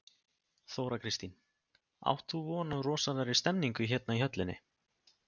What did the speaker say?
Þóra Kristín: Átt þú von á rosalegri stemningu hérna í höllinni?